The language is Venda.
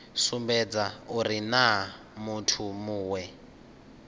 sumbedza uri naa muthu muwe